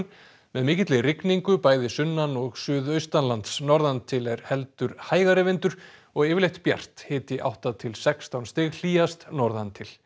með mikilli rigningu bæði sunnan og suðaustanlands norðan til er heldur hægari vindur og yfirleitt bjart hiti átta til sextán stig hlýjast norðan til